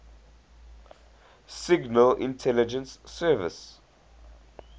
signal intelligence service